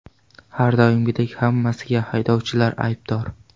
Har doimgidek hammasiga haydovchilar aybdor.